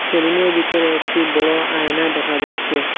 সেলুনের ভিতরে একটি বড় আয়না দেখা যাচ্ছে।